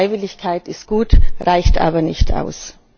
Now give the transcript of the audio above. Freiwilligkeit ist gut, reicht aber nicht aus.